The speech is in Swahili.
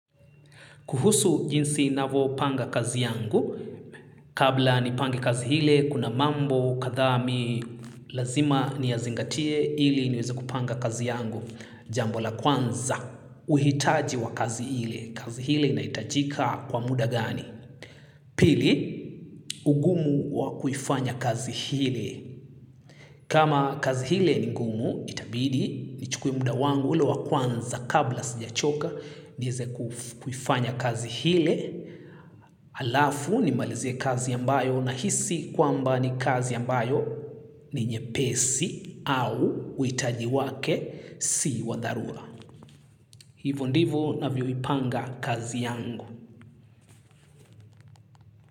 Kuhusu jinsi navo panga kazi yangu, kabla nipange kazi hile, kuna mambo, kadhaa mi, lazima niyazingatie, hili niweze kupanga kazi yangu. Jambo la kwanza, uhitaji wa kazi hile, kazi hile inahitajika kwa muda gani? Pili, ugumu wa kuifanya kazi hile. Kama kazi hile ni ngumu, itabidi, nichukuwe muda wangu, ule wa kwanza kabla sijachoka, niweze kuifanya kazi hile. Alafu nimalizie kazi ambayo na hisi kwamba ni kazi ambayo ni nyepesi au huitaji wake si wa dharura. Hivo ndivo navyoipanga kazi yangu.